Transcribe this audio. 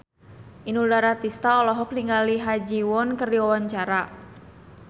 Inul Daratista olohok ningali Ha Ji Won keur diwawancara